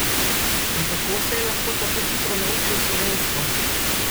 In kako se je lahko tako hitro naučil slovensko?